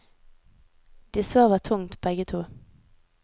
De sover tungt, begge to.